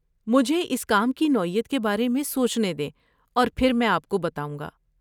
مجھے اس کام کی نوعیت کے بارے میں سوچنے دیں اور پھر میں آپ کو بتاؤں گا۔